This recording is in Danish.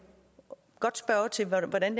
godt spørge til hvordan